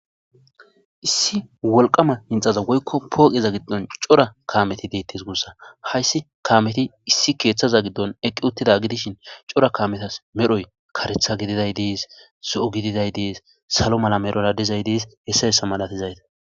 Issi wolqama hinxaza woykko pooqiza giddon cora kaameti deettes guussa hayssi kaameti issi keeththaza giddon eqqi uttida gidishin cora kaametas medhoy karetha gididay dees so7o gididay dees salo mala medhora dizay deis hessa yessa malatizayta